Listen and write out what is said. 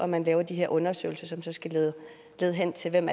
man laver de her undersøgelser som skal lede hen til hvem